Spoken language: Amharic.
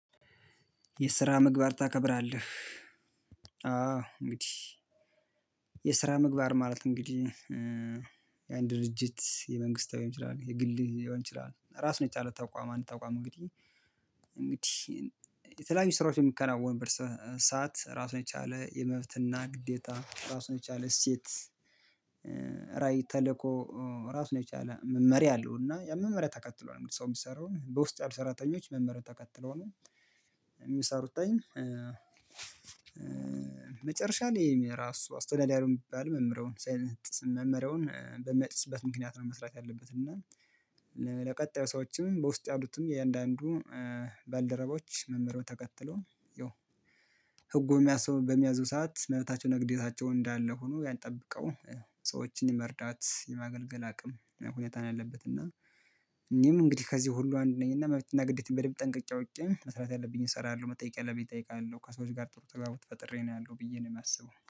የስራ ምግባር ታከብራለህ? አዎ እንግዲህ የስራ ምግባር ማለት እንግዲህ የአንድ ድርጅት የመንግስት ሊሆን ይችላል የግል ሊሆን ይችላል። ራሱን የቻለ ተቋም አንድ ተቋም እንግዲህ እንግዲህ የተለያዩ ስራዎች በሚከናወን ሰዓት ራሱን የቻለ የመብት እና ግዴታ ራሱን የቻለ እሴት ራዕይ ተልእኮ ራሱን የቻለ መመሪያ አለው እና የመመሪያ ተከትሎ ነው ሰው የሚሰራውን በውስጥ ያሉ ሰራተኞች መመሪያ ተከትሎ ነው። የሚሰሩትኝ አይን መጨረሻ ላይ የሚል ራሱ አስቶናሊያኑን የሚባል መምህረውን ሳይነጥስ መምህረውን በመጥፍበት ምክንያት ነው። መስራት ያለበት እና ለቀጣዩ ሰዎችም በውስጥ ያሉትን የእያንዳንዱ ባልደረቦች መርኾ ተከትሎን ይኸው ህጉ የሚያስበው በሚያዙ ሰዓት መብታቸው ንግዴታቸው እንዳለ ሆኖ ያንጠብቀው ሰዎችን መርዳት የማገልገል አቅም ሁኔታን አለበት። እና እኔም እንግዲህ ከዚህ ሁሉ አንድ ነኝ እና ግዴታዬን በደንብ ጠንቀቄ አውቄ መስራት ያለብኝን እሰራለሁ። መጠየቅ ያለብኝ እጠይቃለሁ። ከሰዎች ጋር ጥሩ ተጋብቶ ፈጥሬ ነው ያለው ብዬ ነው የማስበው